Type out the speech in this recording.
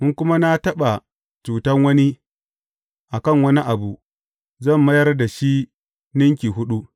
In kuma na taɓa cutan wani, a kan wani abu, zan mayar da shi ninki huɗu.